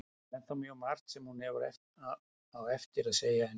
Það er ennþá mjög margt sem hún á eftir að segja henni.